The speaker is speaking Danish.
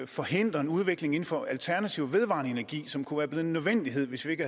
forhindrer en udvikling inden for alternativ vedvarende energi som kunne have en nødvendighed hvis ikke